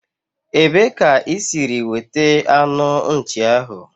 Ebee ka isiri wete anu nchi ahu?